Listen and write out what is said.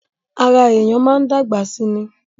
Ará èèyàn máa ń dàgbà sí ní